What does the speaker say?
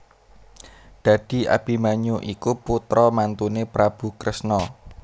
Dadi Abimanyu iku putra mantuné Prabu Kresna